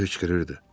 Hönkürürdü.